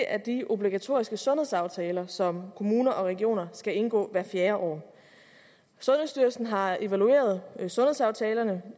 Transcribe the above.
er de obligatoriske sundhedsaftaler som kommuner og regioner skal indgå hvert fjerde år sundhedsstyrelsen har evalueret sundhedsaftalerne